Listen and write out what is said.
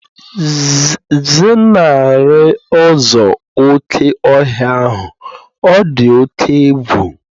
Zenarị ụzọ oké ọhịa ahụ, ọ dị oke egwu